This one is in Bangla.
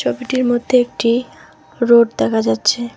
ছবিটির মধ্যে একটি রোড দেখা যাচ্ছে।